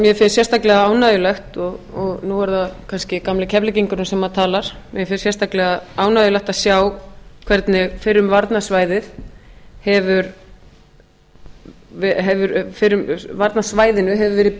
mér finnst sérstaklega mjög ánægjulegt og nú er það kannski gamli keflvíkingurinn sem talar mér finnst sérstaklega ánægjulegt að sjá hvernig fyrrum varnarsvæðinu hefur verið